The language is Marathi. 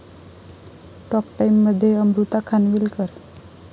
टॉक टाइममध्ये अमृता खानविलकर